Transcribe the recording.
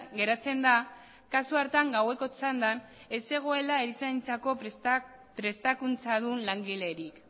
geratzen da kasu hartan gaueko txandan ez zegoela erizaintzako prestakuntzadun langilerik